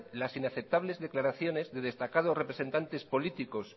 las inaceptables declaraciones de destacados representantes políticos